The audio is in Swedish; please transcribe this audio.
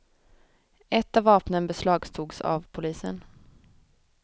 Ett av vapnen beslagtogs av polisen.